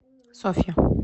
софья